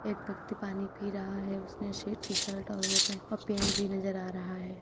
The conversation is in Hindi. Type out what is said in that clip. एक व्यक्ति पानी पी रहा है। उसने शेट् टी शर्ट और और पेड़ भी नजर आ रहा है।